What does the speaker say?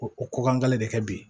Ko o ko kan de kɛ bi